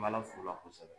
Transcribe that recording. N b'ala f'ula kosɛbɛ